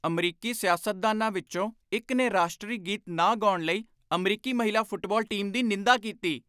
ਅਮਰੀਕੀ ਸਿਆਸਤਦਾਨਾਂ ਵਿੱਚੋਂ ਇੱਕ ਨੇ ਰਾਸ਼ਟਰੀ ਗੀਤ ਨਾ ਗਾਉਣ ਲਈ ਅਮਰੀਕੀ ਮਹਿਲਾ ਫੁਟਬਾਲ ਟੀਮ ਦੀ ਨਿੰਦਾ ਕੀਤੀ।